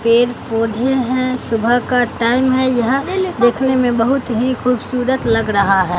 पेड़ पौधे हैं सुबह का टाइम है यहां देखने में बहुत ही खूबसूरत लग रहा है।